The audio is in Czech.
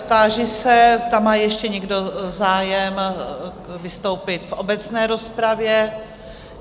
Táži se, zda má ještě někdo zájem vystoupit v obecné rozpravě?